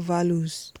values